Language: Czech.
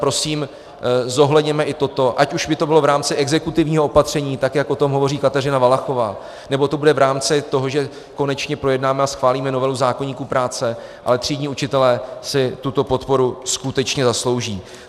Prosím, zohledněme i toto, ať už by to bylo v rámci exekutivního opatření, tak jak o tom hovoří Kateřina Valachová, nebo to bude v rámci toho, že konečně projednáme a schválíme novelu zákoníku práce, ale třídní učitelé si tuto podporu skutečně zaslouží.